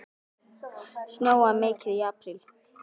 Snjóaði mikið í apríl?